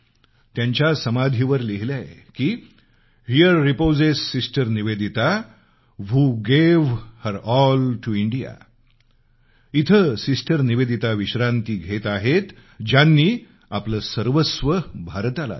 त्यांच्या समाधीवर लिहिलंय की here reposes sister Nivedita who gave her all to India इथं सिस्टर निवेदिता विश्रांती घेत आहेत ज्यांनी आपलं सर्वस्व भारताला दिलं